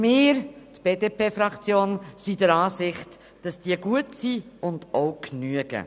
Die BDP-Fraktion ist der Auffassung, dass diese gut sind und genügen.